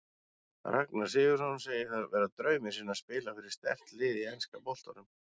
Ragnar Sigurðsson segir það vera drauminn sinn að spila fyrir sterkt lið í enska boltanum.